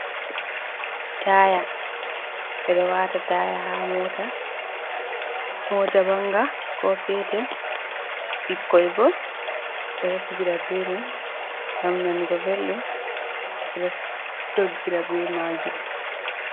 Taaya ɓe ɗo waata taaya haa Mota, manga ko petel bikkoi ɗo fijira be mai ngam nanugo belɗum ɓeɗo doggira be maajum.